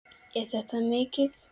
Er þetta mikið?